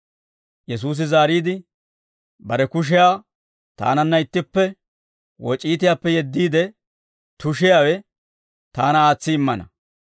Yesuusi zaariide, «Bare kushiyaa taananna ittippe woc'iitiyaappe yeddiide tushiyaawe taana aatsi immana.